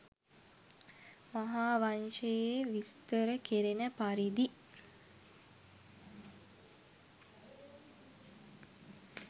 මහා වංශයේ විස්තර කෙරෙන පරිදි